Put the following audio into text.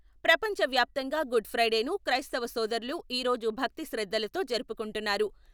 ప్రపంచ వ్యాప్తంగా గుడ్ ఫ్రైడేను క్రైస్తవ సోదరులు ఈ రోజు భక్తి శ్రద్ధలతో జరుపుకుంటున్నారు.